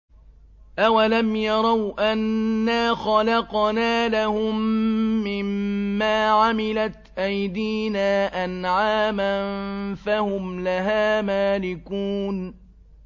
أَوَلَمْ يَرَوْا أَنَّا خَلَقْنَا لَهُم مِّمَّا عَمِلَتْ أَيْدِينَا أَنْعَامًا فَهُمْ لَهَا مَالِكُونَ